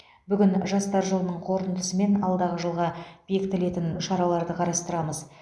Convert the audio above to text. бүгін жастар жылының қорытындысы мен алдағы жылға бекітілетін шараларды қарастырамыз